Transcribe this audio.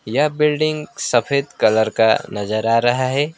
यह बिल्डिंग सफेद कलर का नजर आ रहा है।